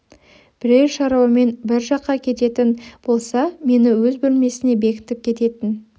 бірер шаруамен бір жаққа кететін болса мені өз бөлмесіне бекітіп кететін